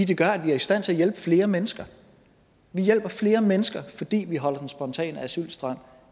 det gør at vi er i stand til at hjælpe flere mennesker vi hjælper flere mennesker fordi vi holder den spontane asylstrøm